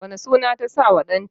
wane suna ta sa wa ɗan ta?